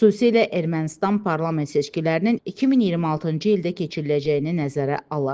Xüsusilə Ermənistan parlament seçkilərinin 2026-cı ildə keçiriləcəyini nəzərə alaraq.